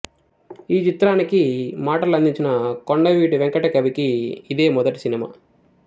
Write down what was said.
ఈ చిత్రానికి మాటలు అందించిన కొండవీటి వెంకట కవికి ఇదే మొదటి సినిమా